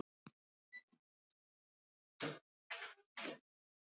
Krakkarnir gengu þétt í hóp í myrkrinu og sungu uppáhaldslagið hans Fúsa.